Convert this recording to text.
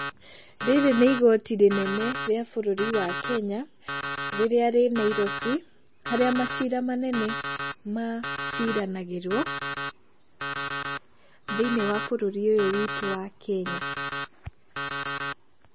Rĩrĩ nĩ igoti rĩnene rĩa bũrũri wa Kenya rĩrĩa rĩ Nairobi harĩa macira manene maciranagĩrwo thĩinĩ wa bũrurinĩ ũyũ witu wa Kenya.